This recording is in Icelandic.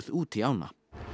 út í ána